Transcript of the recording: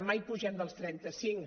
mai pugem dels trenta cinc